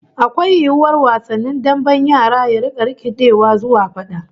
Akwai yiwuwar wasan damben yara ya rika rikidewa zuwa fada?